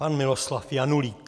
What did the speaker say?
Pan Miloslav Janulík.